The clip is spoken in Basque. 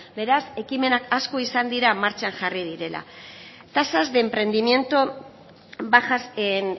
beraz ekimenak asko izan dira martxan jarri direla tasas de emprendimiento bajas en